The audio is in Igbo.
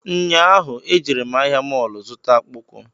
Nyaahu e jere m ahịa mọlụ zụta akpụkwụ